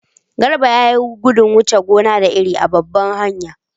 Garba ya yi gudun wuce gona da iri a babbar hanya.